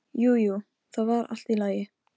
Jú, jú, það var allt í lagi.